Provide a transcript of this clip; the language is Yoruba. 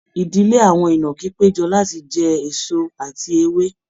Idile awọn inaki pejọ lati jẹ eso ati ewe